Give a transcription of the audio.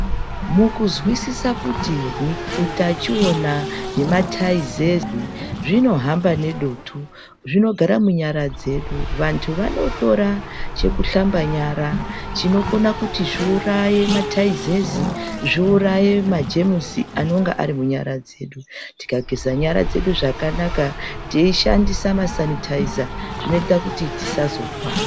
Kuzwisisa kuti utachiona wemataizezi unohamba nedutu zvinogara munyara dzedu vandu vanotora chekuhlamba Yara chinokona kuti zviuraye taizezi ne magemusi, anenge ari munyara dzedu tikageza nyara dzedu teyishandisa masanitaiza zvinoita kuti tisazorwara.